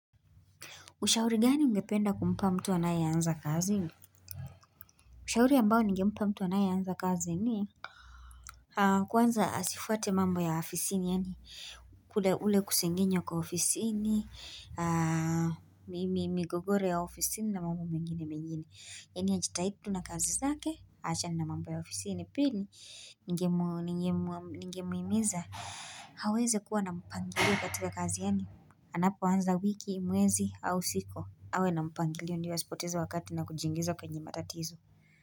Ushauri gani ungependa kumpa mtu anayeanza kazi Ushauri ambao nigempa mtu anayeanza kazi ni Kwanza asifuate mambo ya ofisini yaani kule ule kusengenywa kwa ofisini migogoro ya ofisini na mambo mengine mengine Yaani ajitahidi tu na kazi zake aachane na mambo ya ofisini pili Ningemhimiza aweze kuwa na mpangilio katika kazi yaani Anapoanza wiki, mwezi au siku awe na mpangilio ndio asipoteza wakati na kujiingiza kwenye matatizo.